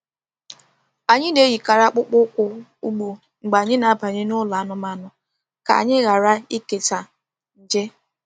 Anyị na-eyikarị akpụkpọ ụkwụ ugbo mgbe anyị na-abanye n’ụlọ anụmanụ ka anyị ghara ikesa nje.